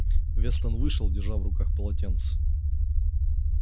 вестон вышел держа в руках полотенце